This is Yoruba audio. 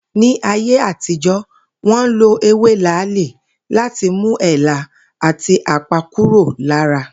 Ní ayé àtijó̩, wó̩n lo ewe làálí láti mú èélá àti àpá kúrò lára